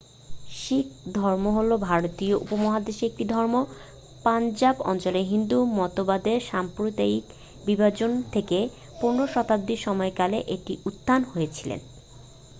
শিখ ধর্ম হলো ভারতীয় উপমহাদেশের একটি ধর্ম পঞ্জাব অঞ্চলে হিন্দু মতবাদের সাম্প্রদায়িক বিভাজন থেকে 15 শতাব্দীর সময়কালে এটির উত্থান হয়েছিল